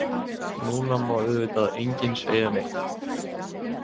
Núna má auðvitað enginn segja neitt.